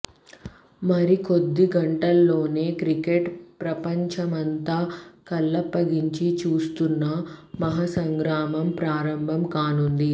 మరికొద్ది గంటల్లోనే క్రికెట్ ప్రపంచమంతా కళ్లప్పగించి చూస్తున్న మహా సంగ్రామం ప్రారంభం కానుంది